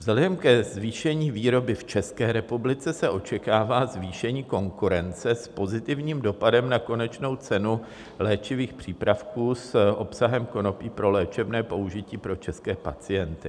Vzhledem ke zvýšení výroby v České republice se očekává zvýšení konkurence s pozitivním dopadem na konečnou cenu léčivých přípravků s obsahem konopí pro léčebné použití pro české pacienty.